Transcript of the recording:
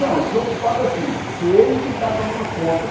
Não, desocupado assim, que ele que está tomando conta.